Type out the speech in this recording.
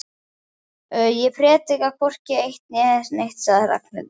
Ég predika hvorki eitt né neitt sagði Ragnhildur.